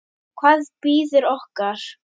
Hvað bíður okkar?